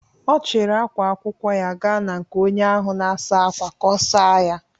Ọ chiri ákwá akwụkwọ gaa na nke onye ahụ na-asa ákwà ka ọ saa ya.